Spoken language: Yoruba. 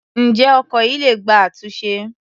Ǹjẹ́ ọkọ̀ yìí le gba àtúnṣe?